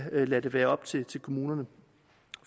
lade det være op til kommunerne